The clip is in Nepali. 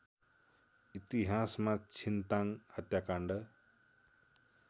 इतिहासमा छिन्ताङ हत्याकाण्ड